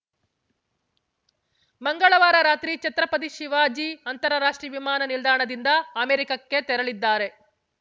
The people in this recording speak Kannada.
ಮಂಗಳವಾರ ರಾತ್ರಿ ಛತ್ರಪತಿ ಶಿವಾಜಿ ಅಂತರ ರಾಷ್ಟ್ರೀಯ ವಿಮಾನ ನಿಲ್ದಾಣದಿಂದ ಅಮೆರಿಕಕ್ಕೆ ತೆರಳಿದ್ದಾರೆ